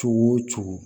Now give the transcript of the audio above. Cogo o cogo